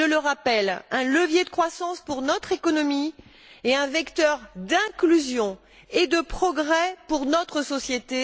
C'est, je le rappelle, un levier de croissance pour notre économie et un vecteur d'inclusion et de progrès pour notre société.